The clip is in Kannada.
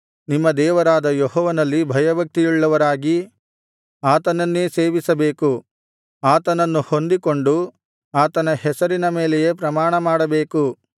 ನಿಮ್ಮ ದೇವರಾದ ಯೆಹೋವನಲ್ಲಿ ಭಯಭಕ್ತಿಯುಳ್ಳವರಾಗಿ ಆತನನ್ನೇ ಸೇವಿಸಬೇಕು ಆತನನ್ನು ಹೊಂದಿಕೊಂಡು ಆತನ ಹೆಸರಿನ ಮೇಲೆಯೇ ಪ್ರಮಾಣಮಾಡಬೇಕು